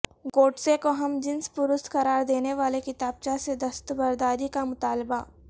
گوڈسے کو ہم جنس پرست قرار دینے والے کتابچہ سے دستبرداری کا مطالبہ